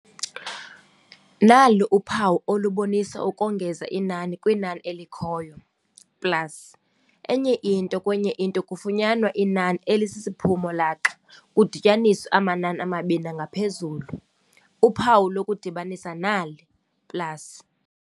Nalu uphawu olubonisa ukongeza inani kwinani elikhoyo plus enye into kwenyeinto kwenye into kufunyanwa inani elisisiphumo laxa kudityaniswe amanani amabini nangaphezulu. uphawu lokudibanisa nali "plus".